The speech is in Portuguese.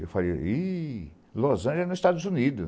Eu falei, iiih, Los Angeles é nos Estados Unidos.